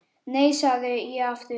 Nei, segi ég aftur.